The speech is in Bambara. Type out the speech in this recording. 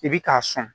I bi k'a sɔn